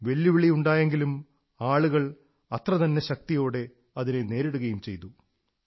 വെല്ലുവിളിയുണ്ടായെങ്കിലും ആളുകൾ അത്രതന്നെ ശക്തിയോടെ അതിനെ നേരിടുകയും ചെയ്തു